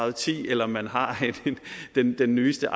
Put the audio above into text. og ti eller om man har den nyeste